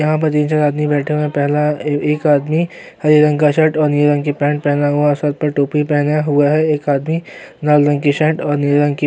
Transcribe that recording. यह में जो आदमी बैठे हुए हैं पहला ए-एक आदमी हरे रंग की सेंट और नीले रंग की पैंट पहने हुआ और सर पर टोपी पहना हुआ है एक आदमी लाल रंग की शर्ट और नीले रंग की